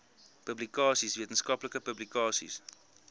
publikasies wetenskaplike publikasies